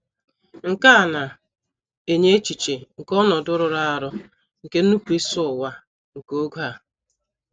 Nke a na - enye echiche nke ọnọdụ rụrụ arụ, nke nnupụisi ụwa nke oge a.